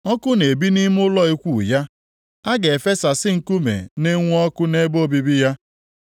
Ọkụ na-ebi nʼime ụlọ ikwu ya; a ga-efesasị nkume na-enwu ọkụ nʼebe obibi ya.